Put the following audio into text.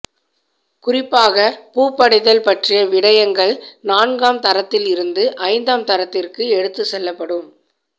குறிப்பாக பூப்படைதல் பற்றிய விடயங்கள் நான்காம் தரத்திலிருந்து ஐந்தாம் தரத்திற்கு எடுத்துச்செல்லப்படும்